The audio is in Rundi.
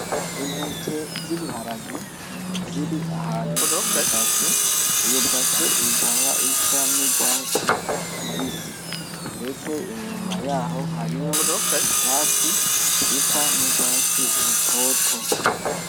Intete z'ibiharage ziri ahantu mw'ibase, iyo base ikaba isa n'urwatsi rubisi, ndetse inyuma yaho hariho ivyatsi bisa n'urwatsi rutoto.